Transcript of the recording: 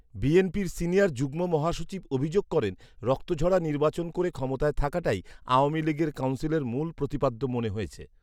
বিএনপির সিনিয়র যুগ্ম মহাসচিব অভিযোগ করেন, রক্তঝরা নির্বাচন করে ক্ষমতায় থাকাটাই আওয়ামী লীগের কাউন্সিলের মূল প্রতিপাদ্য মনে হয়েছে